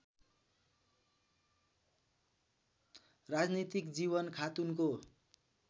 राजनीतिक जीवन खातुनको